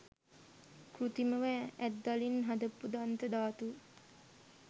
කෘතිමව ඇත්දලින් හදපු දන්ත ධාතුව.